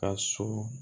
Ka so